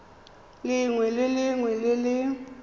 lengwe le lengwe le le